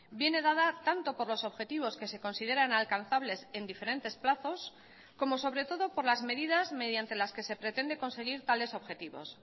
viene dada tanto por los objetivos que se consideran alcanzables en diferentes plazos como sobre todo por las medidas mediante las que se pretende conseguir tales objetivos